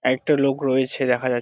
একটা লোক রয়েছে দেখা যা--